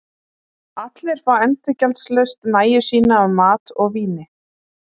Allir fá endurgjaldslaust nægju sína af mat og víni.